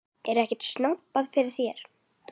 Er ekkert snobbað fyrir þér?